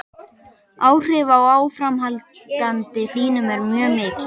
Áhrif af áframhaldandi hlýnun eru mjög mikil.